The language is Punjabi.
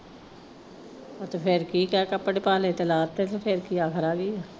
ਅਤੇ ਫੇਰ ਠੀਕ ਹੈ ਕੱਪੜੇ ਪਾ ਲਏ ਤੇ ਲਾ ਤੇ ਫੇਰ। ਫੇਰ ਕੀ ਆਖ਼ਰ ਆ ਗਈ।